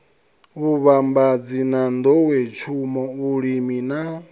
vhuvhambadzi na nḓowetshumo vhulimi na